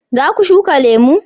za ku shuka lemo?